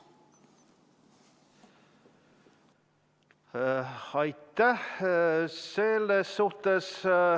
Aitäh!